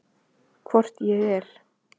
Hvort ég er.